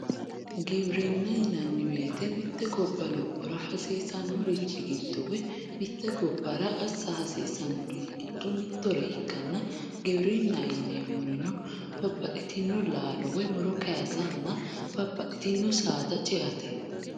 Giwirina yinanni woyite mitte gobba lopora hasisanorichi giddo woyi mitte gobara asa hasisanori giddo mittore ikanna giwirinaho yinemorino babaxitino lalo woyi muro kayisanna babaxitino saada ceatte